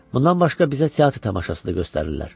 Bundan başqa bizə teatr tamaşası da göstərirlər.